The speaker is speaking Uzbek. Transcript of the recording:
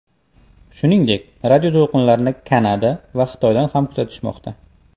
Shuningdek, radioto‘lqinlarni Kanada va Xitoydan ham kuzatishmoqda.